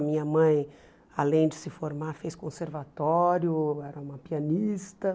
A minha mãe, além de se formar, fez conservatório, era uma pianista.